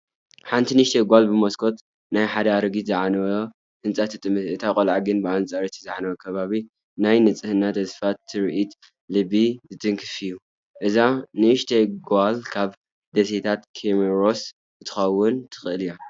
ሓንቲ ንእሽቶ ጓል ብመስኮት ናይ ሓደ ኣረጊትን ዝዓነወን ህንጻ ትጥምት። እቲ ቆልዓ ግን ብኣንጻር እቲ ዝዓነወ ከባቢ፡ ናይ ንጽህናን ተስፋን ትርኢት ልቢ ዝትንክፍ እዩ። እዛ ንእሽቶ ጓል ካብ ደሴታት ኮሞሮስ ክትከውን ትኽእል እያ።